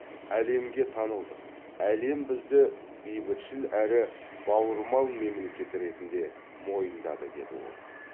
әлемге танылдық әлем бізді бейбітшіл әрі бауырмал мемлекет ретінде мойындады деді ол